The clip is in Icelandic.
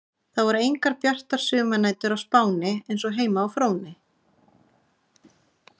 Það voru engar bjartar sumarnætur á Spáni eins og heima á Fróni.